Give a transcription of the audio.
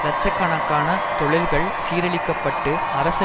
இலட்ச கணக்கான தொழில்கள் சீரழிக்கப்பட்டு அரசு